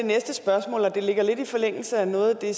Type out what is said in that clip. det ligger lidt i forlængelse af noget af det